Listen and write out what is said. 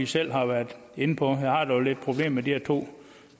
selv har været inde på jeg har dog lidt problemer med de her to